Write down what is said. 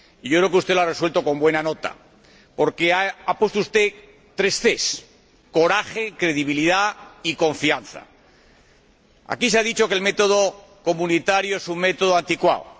Creo que lo ha resuelto con buena nota, porque ha puesto usted tres ces coraje, credibilidad y confianza. Aquí se ha dicho que el método comunitario es un método anticuado.